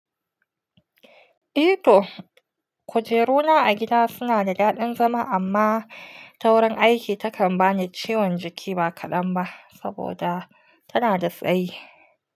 I to, kujeru na a gida suna da daɗin zama amma taurin aiki takan bani ciwon jiki ba kaɗan ba, saboda tana da tsayi.